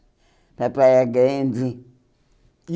Para Praia Grande. E